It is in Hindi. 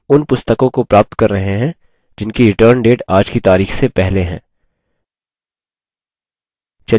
हम उन पुस्तकों को प्राप्त कर रहे हैं जिनकी return date आज की तारिख से पहले है